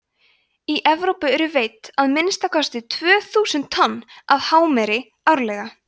í evrópu eru veidd að minnsta kosti tvö þúsund tonn af hámeri árlega